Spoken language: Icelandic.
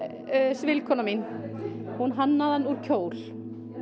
svilkona mín hún hannaði hann úr kjól